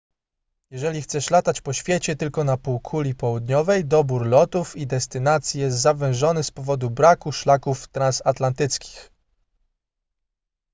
jeżeli chcesz latać po świecie tylko na półkuli południowej dobór lotów i destynacji jest zawężony z powodu braku szlaków transatlantyckich